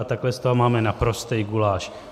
A takhle z toho máme naprostý guláš.